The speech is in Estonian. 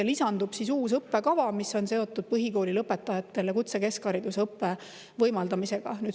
Ja lisandub uus õppekava, mis on seotud põhikooli lõpetajatele kutsekeskharidusõppe võimaldamisega.